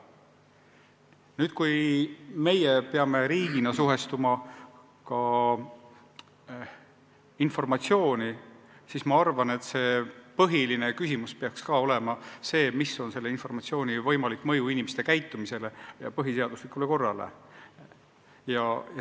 Nüüd, kui meie peame riigina võtma positsiooni informatsiooni suhtes, siis ma arvan, et põhiline küsimus peaks olema, milline on informatsiooni võimalik mõju inimeste käitumisele ja põhiseaduslikule korrale.